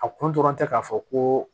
A kun dɔrɔn tɛ k'a fɔ ko